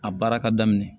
A baara ka daminɛ